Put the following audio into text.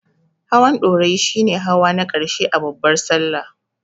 Hawan Ɗorayi shi ne hawa na ƙarshe a babbar Sallah.